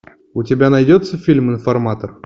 у тебя найдется фильм информатор